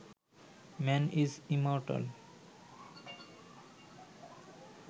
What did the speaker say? man is immortal